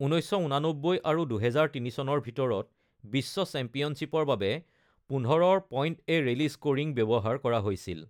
১৯৮৯ আৰু ২০০৩ চনৰ ভিতৰত বিশ্ব চেম্পিয়নশ্বিপৰ বাবে ১৫ৰ পইণ্ট-এ-ৰেলী স্কোৰিং ব্যৱহাৰ কৰা হৈছিল।